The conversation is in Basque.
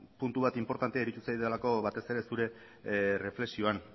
puntu bat inportantea iruditu zaidalako batez ere zure erreflexioan